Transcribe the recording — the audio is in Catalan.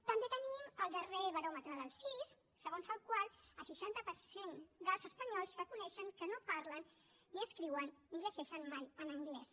també tenim el darrer baròmetre del cis segons el qual el seixanta per cent dels espanyols reconeixen que no parlen ni escriuen ni llegeixen mai en anglès